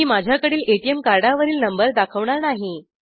मी माझ्याकडील एटीएम कार्डावरील नंबर दाखवणार नाही